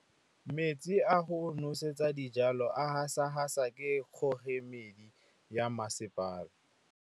Metsi a go nosetsa dijalo a gasa gasa ke kgogomedi ya masepala.